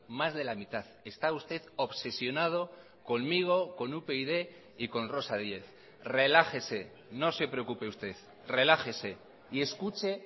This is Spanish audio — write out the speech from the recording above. más de la mitad está usted obsesionado conmigo con upyd y con rosa díez relájese no se preocupe usted relájese y escuche